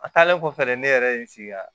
A taalen kɔfɛ dɛ ne yɛrɛ ye n sigi